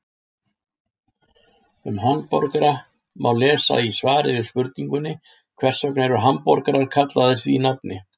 Um hamborgara má lesa í svari við spurningunni Hvers vegna eru hamborgarar kallaðir því nafni?